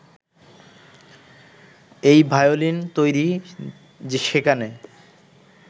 এই ভায়োলিন তৈরি, সেখানে